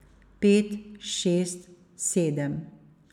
Pet, šest, sedem.